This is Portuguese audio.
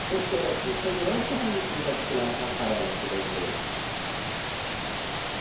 Vocês querem aqui um segurança ou um manequim para desfilar na passarela aqui da empresa?